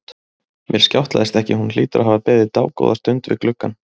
Mér skjátlaðist ekki, hún hlýtur að hafa beðið dágóða stund við gluggann.